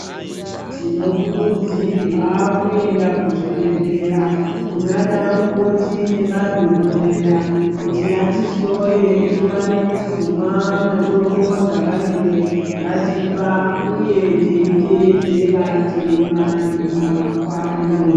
Tinokurudzirwa kuenda kuzvibhehleya kunaana mukoti. Madhokodheya kuti ati hloye tiwane kuzomwa mitombo yavanenge vatipa uye teiteedzera teimwa ngenguwa kwayo